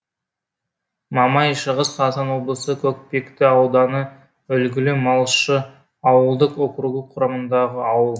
мамай шығыс қазақстан облысы көкпекті ауданы үлгілі малшы ауылдық округі құрамындағы ауыл